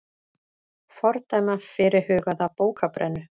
Fordæma fyrirhugaða bókabrennu